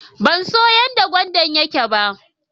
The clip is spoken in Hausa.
Ban so yan da gwandan yake ba.